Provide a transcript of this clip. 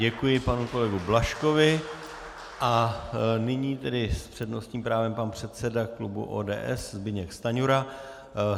Děkuji panu kolegovi Blažkovi a nyní tedy s přednostním právem pan předseda klubu ODS Zbyněk Stanjura.